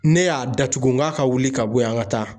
Ne y'a datugu n k'a ka wuli ka bɔ yen ,an ka taa.